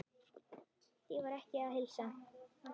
Því var ekki að heilsa.